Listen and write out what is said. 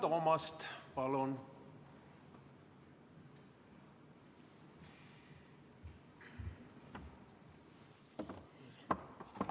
Vilja Toomast, palun!